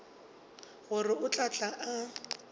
gore o tla tla a